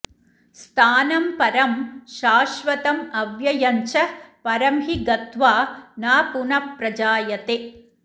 स्थानं परं शाश्वतमव्यञ्च परं हि गत्वा न पुनः प्रजायते